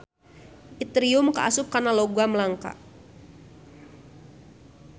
Itrium kaasup kana logam langka.